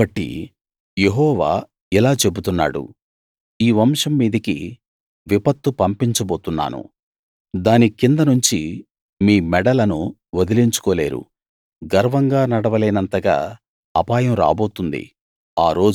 కాబట్టి యెహోవా ఇలా చెబుతున్నాడు ఈ వంశం మీదికి విపత్తు పంపించబోతున్నాను దాని కిందనుంచి మీ మెడలను వదిలించుకోలేరు గర్వంగా నడవ లేనంతగా అపాయం రాబోతుంది